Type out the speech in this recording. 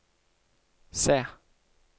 se